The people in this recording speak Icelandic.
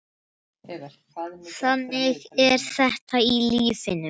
Þannig er þetta í lífinu.